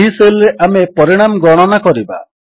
ଏହି ସେଲ୍ ରେ ଆମେ ପରିଣାମ ଗଣନା କରିବା